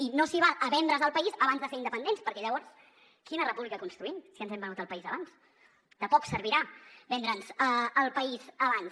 i no s’hi val a vendre’s el país abans de ser independents perquè llavors quina república construïm si ens hem venut el país abans de poc servirà vendre’ns el país abans